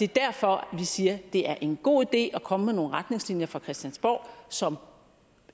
derfor vi siger at det er en god idé at komme med nogle retningslinjer fra christiansborg som